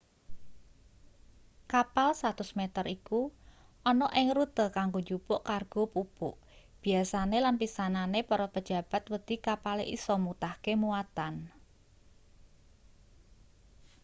kapal 100 meter iku ana ing rute kanggo njupuk kargo pupuk biasane lan pisanane para pejabat wedi kapale isa mutahke muatan